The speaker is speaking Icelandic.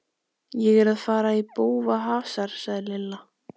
Ég er að fara í bófahasar sagði Lilla.